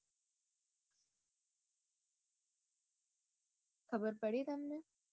ખબર પડી તમને